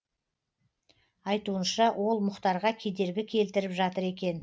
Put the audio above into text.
айтуынша ол мұхтарға кедергі келтіріп жатыр екен